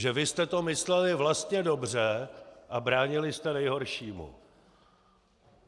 Že vy jste to mysleli vlastně dobře a bránili jste nejhoršímu.